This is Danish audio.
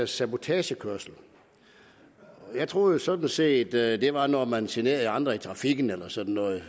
sabotagekørsel jeg troede sådan set at det var når man generer andre i trafikken eller sådan noget